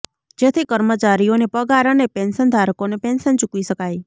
જેથી કર્મચારીઓને પગાર અને પેન્શનધારકોને પેન્શન ચૂકવી શકાય